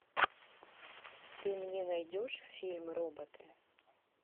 ты мне найдешь фильм роботы